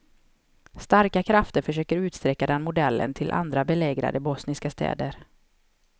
Starka krafter försöker utsträcka den modellen till andra belägrade bosniska städer.